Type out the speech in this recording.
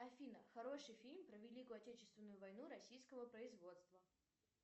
афина хороший фильм про великую отечественную войну российского производства